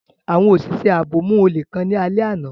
Awọn oṣiṣẹ aabo mu ole kan ni alẹ ana.